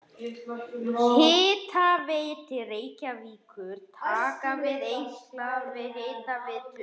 Hitaveita Reykjavíkur taka við einkaleyfi Hitaveitu